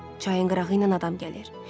Çayın qırağı ilə adam gəlir.